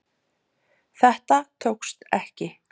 Þetta tókst ekki